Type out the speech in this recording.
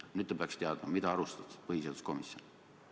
Nüüd te peaks teadma, mida arutas põhiseaduskomisjon.